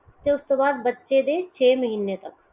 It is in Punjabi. ਤੇ ਓਸ ਦੋ ਬਾਅਦ ਬਚੇ ਦੇ ਛੇ ਮਹੀਨੇ ਤੱਕ